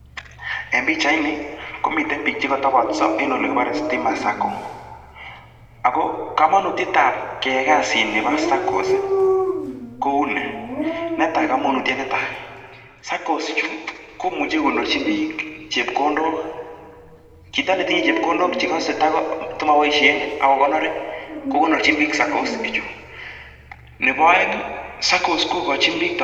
Kabarunoit ab pichaini koboru bik chetepcheng'uny ak cheteleldos eng [stima Sacco] ako boroindo nyi kotoreti kokonorchi bik